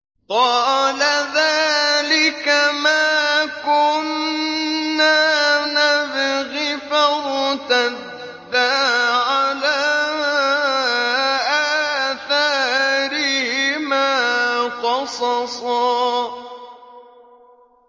قَالَ ذَٰلِكَ مَا كُنَّا نَبْغِ ۚ فَارْتَدَّا عَلَىٰ آثَارِهِمَا قَصَصًا